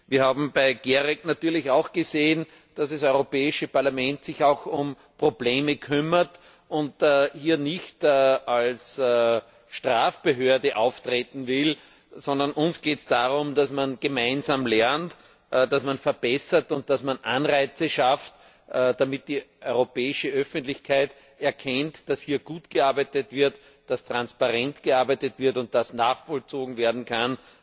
Wir haben bei GEREK natürlich auch gesehen, dass das Europäische Parlament sich auch um Probleme kümmert und hier nicht als Strafbehörde auftreten will, sondern uns geht es darum, dass man gemeinsam lernt, dass man verbessert und dass man Anreize schafft, damit die europäische Öffentlichkeit erkennt, dass hier gut gearbeitet wird, dass transparent gearbeitet wird und dass nachvollzogen werden kann,